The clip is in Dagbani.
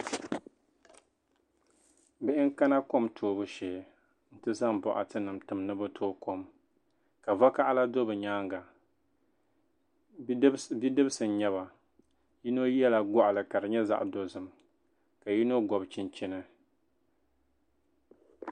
bihi n-kana kom toobu shee nti zaŋ bɔɣitinima tim ni bɛ tooi kom ka vakaɣila do bɛ nyaaŋga bidibisi n-nyɛ ba yino yɛla gɔɣili ka di nyɛ zaɣ' dozim ka yino gɔbi chinchini